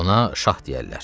Ona şah deyərlər.